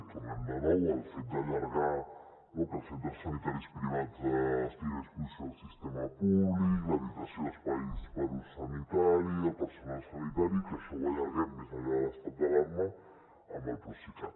tornem de nou al fet d’allargar que els centres sanitaris privats estiguin a disposició del sistema públic l’habilitació espais per a ús sanitari i el personal sanitari que això ho allarguem més enllà de l’estat d’alarma amb el procicat